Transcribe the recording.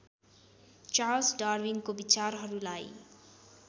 Charles डार्विनको विचारहरूलाई